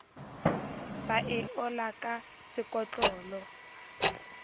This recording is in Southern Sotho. ba e ola ka sekotlolo